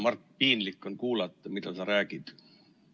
Mart, piinlik on kuulata, mida sa räägid.